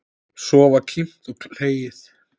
Svo var kímt og hlegið.